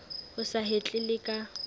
o sa hetle le ka